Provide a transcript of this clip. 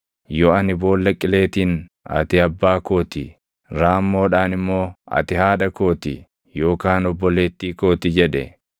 yoo ani boolla qileetiin, ‘Ati abbaa koo ti;’ raammoodhaan immoo, ‘Ati haadha koo ti;’ yookaan ‘Obboleettii koo ti’ jedhe,